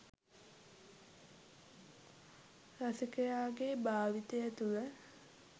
රසිකයාගේ භාවිතය තුළ